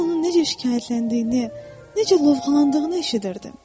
Mən onun necə şikayətləndiyini, necə lovğalandığını eşidirdim.